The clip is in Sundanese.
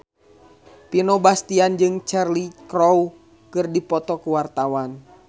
Vino Bastian jeung Cheryl Crow keur dipoto ku wartawan